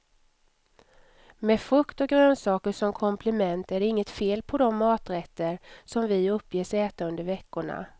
Med frukt och grönsaker som komplement är det inget fel på de maträtter, som vi uppges äta under veckorna.